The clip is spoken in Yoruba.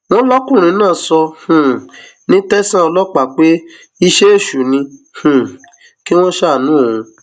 wọn lọkùnrin náà sọ um ní tẹsán ọlọpàá pé iṣẹ èṣù ni um kí wọn ṣàánú òun